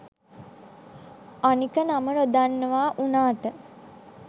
අනික නම නොදන්නවා උනාට